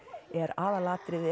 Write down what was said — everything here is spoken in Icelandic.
er aðalatriðið